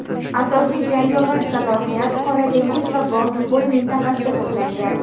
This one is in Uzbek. asosiy jangovar salohiyat Qora dengiz va Boltiqbo‘yi mintaqasida to‘plangan.